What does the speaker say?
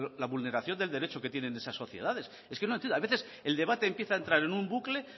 la vulneración del derecho que tienen esas sociedades es que no entiendo a veces el debate empieza a entrar en un bucle